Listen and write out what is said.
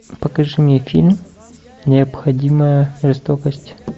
покажи мне фильм необходимая жестокость